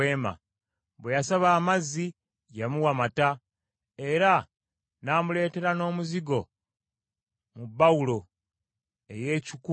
Bwe yasaba amazzi, yamuwa mata, era n’amuleetera n’omuzigo mu bbawulo ey’ekikungu.